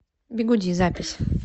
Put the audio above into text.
бигуди запись